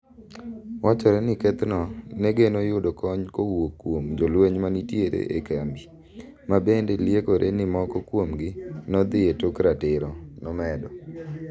"Wachore ni kethno negeno yudo kony kowuok kuom jolweny manenitire ei kambi, mabende liekore ni moko kuomgi nodhi etok ratiro," nomedo.